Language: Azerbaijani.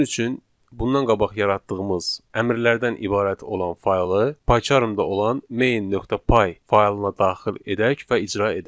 Bunun üçün bundan qabaq yaratdığımız əmrlərdən ibarət olan faylı Pycharmda olan main.py faylına daxil edək və icra edək.